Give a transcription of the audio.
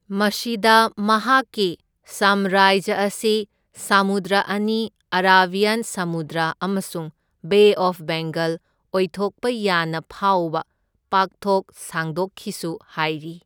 ꯃꯁꯤꯗ ꯃꯍꯥꯛꯀꯤ ꯁꯥꯝꯔꯥꯖ꯭ꯌ ꯑꯁꯤ ꯁꯃꯨꯗ꯭ꯔ ꯑꯅꯤ ꯑꯔꯥꯕꯤꯌꯥꯟ ꯁꯃꯨꯗ꯭ꯔ ꯑꯃꯁꯨꯡ ꯕꯦ ꯑꯣꯐ ꯕꯦꯡꯒꯜ ꯑꯣꯏꯊꯣꯛꯄ ꯌꯥꯅ ꯐꯥꯎꯕ ꯄꯥꯛꯊꯣꯛ ꯁꯥꯡꯗꯣꯛꯈꯤꯁꯨ ꯍꯥꯏꯔꯤ꯫